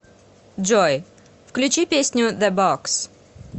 джой включи песню зэ бокс